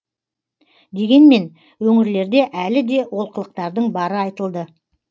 дегенмен өңірлерде әлі де олқылықтардың бары айтылды